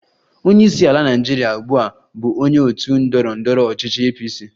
Onye isi ala Naịjirịa ugbu a bụ onye otu ndọrọ ndọrọ ọchịchị APC